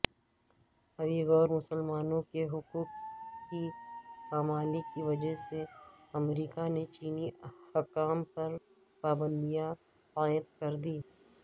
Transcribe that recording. Uyghur مسلمانوں کےحقوق کی پامالی کی وجہ سےامریکہ نے چینی حکام پر پابندیاں عائدکردیں